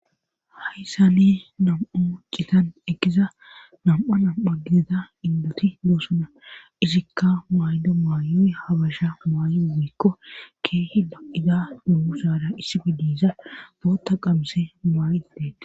Hayssane nam7a u citan egiza nam7a nam7a gidata indoti loosuna isikka maydo maayoy habasha maayo mikko keehi ba7ida nuhu saara issibe diisa bootta qamse maa7dideta.